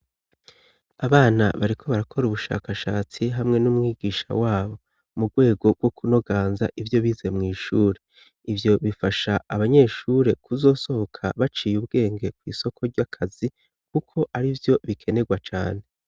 Abana bariko barakora ubushakashatsi hamwe n'umwigisha wabo mu rwego bwo kunoganza ivyo bize mwishure ivyo bifasha abanyeshure kuzosohoka baciye ubwenge kwisoko ry'akazi kuko ari vyo bikenegwa cane.